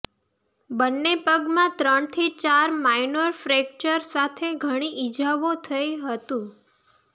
બંને પગમાં ત્રણથી ચાર માઈનોર ફ્રેક્ચર સાથે ઘણી ઇજાઓ થઈ હતું